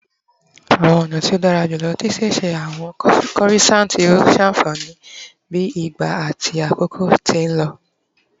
Awọn ọna ti o dara julọ ti ṣiṣe awọn corissants yoo ṣafihan bi ìgba ati àkókò ti n lọ